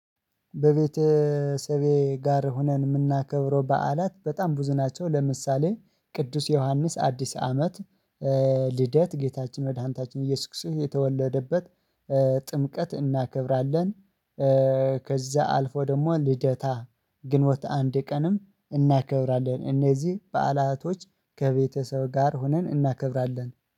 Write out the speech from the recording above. በቤተሰቤ ጋር ሆነን የምናከብረው በዓላት በጣም ብዙ ናቸው። ለምሳሌ ቅዱስ ዮሐንስ አዲስ አመት ልደት ጌታችን መድኃኒታችን ኢየሱስ የተወለደበት ጥምቀት እናከብራለን። ከዛ አልፎ ደግሞ ልደታ ግንቦት አንድ ቀንም እናከብራለን እነዚህ በዓላቶች ከቤተሰብ ጋር ሆነን እናከብራለን